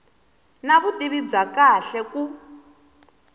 na vutivi bya kahle ku